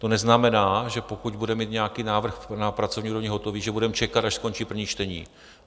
To neznamená, že pokud budeme mít nějaký návrh na pracovní úrovni hotový, že budeme čekat, až skončí první čtení.